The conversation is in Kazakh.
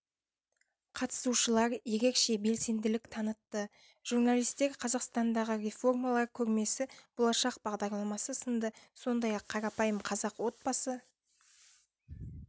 қатысушылар ерекше белсенділік танытты журналистер қазақстандағы реформалар көрмесі болашақ бағдарламасы сынды сондай-ақ қарапайым қазақ отбасы